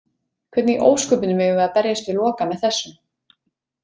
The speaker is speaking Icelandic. Hvernig í ósköpunum eigum við að berjast við Loka með þessu?